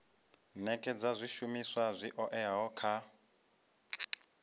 nekedza zwishumiswa zwi oeaho kha